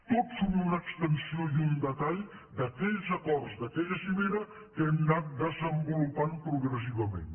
tots són una extensió i un detall d’aquells acords d’aquella cimera que hem anat desenvolupant progressivament